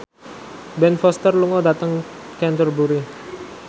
Ben Foster lunga dhateng Canterbury